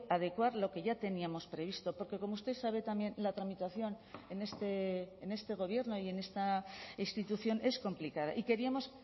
adecuar lo que ya teníamos previsto porque como usted sabe también la tramitación en este gobierno y en esta institución es complicada y queríamos